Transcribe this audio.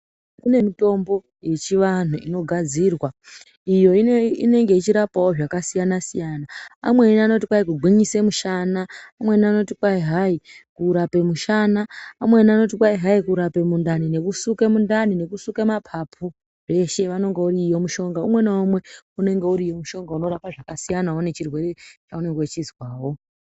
Kune mitombo yechivanhu inogadzirwa iyo inenge ichirapao zvakasiyana siyana amweni anoti hai kugwinyise mushana amweni anoti kwai hayi kurapa mushana amweni anoti kwai hayi kurape mundani nekusuka mundani nekusula mapapu zveshe unenge uriyo mushonga umwe naumwe unenge uriyo mushonga unorapao zvakasiyana nechirwere chaunenge uchizwao.